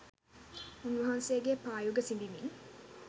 උන්වහන්සේගේ පා යුග සිඹිමින්